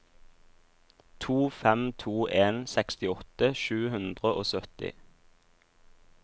to fem to en sekstiåtte sju hundre og sytti